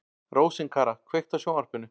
Rósinkara, kveiktu á sjónvarpinu.